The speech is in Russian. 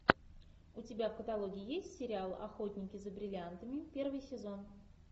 у тебя в каталоге есть сериал охотники за бриллиантами первый сезон